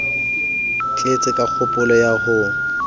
tetse ka kgopolo ya ho